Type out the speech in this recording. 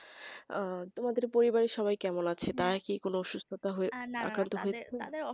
ও তোমাদের পরিবারে সবাই কেমন আছে নাকি অসুবিধা